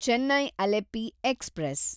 Chennai Alleppey express